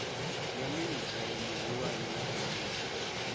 ya minidzhere muhulwane wa emia